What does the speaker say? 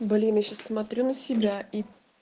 блин ещё смотрю на себя и